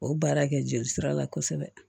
O baara kɛ joli sira la kosɛbɛ